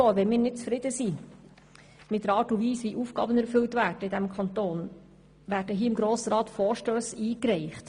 Wenn wir nicht zufrieden sind mit der Art und Weise, wie in diesem Kanton Aufgaben ausgeführt werden, können wir im Grossen Rat Vorstösse einreichen.